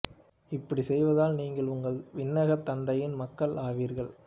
இப்படிச் செய்வதால் நீங்கள் உங்கள் விண்ணகத் தந்தையின் மக்கள் ஆவீர்கள்